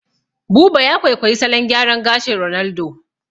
Buba ya kwaikwayi salon gyaran gashin Ronaldo